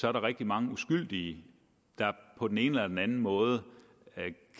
er der rigtig mange uskyldige der på den ene eller den anden måde